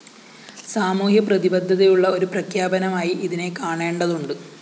സാമൂഹ്യപ്രതിബദ്ധതയുള്ള ഒരു പ്രഖ്യാപനമായി ഇതിനെ കാണേണ്ടതുണ്ട്